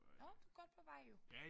Nåh du godt på vej jo